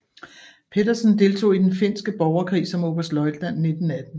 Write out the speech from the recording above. Petersén deltog i Den finske borgerkrig som oberstløjtnant 1918